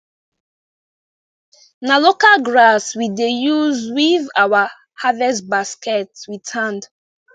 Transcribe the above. na local grass we dey use weave our harvest basket with hand